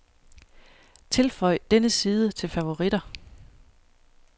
Tilføj denne side til favoritter.